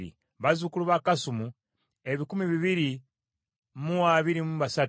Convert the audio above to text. bazzukulu ba Kasumu ebikumi bibiri mu abiri mu basatu (223),